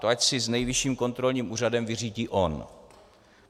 To ať si s Nejvyšším kontrolním úřadem vyřídí on.